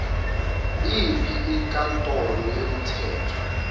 yiyiphi inkantolo yomthetho